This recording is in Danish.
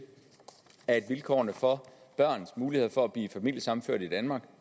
at vilkårene for børns muligheder for at blive familiesammenført i danmark